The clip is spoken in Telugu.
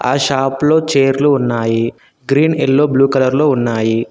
షాప్ లో చేర్లు ఉన్నాయి గ్రీన్ ఎల్లో బ్లూ కలర్ లో ఉన్నాయి.